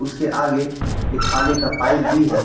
उसके आगे एक पानी का पाइप भी है।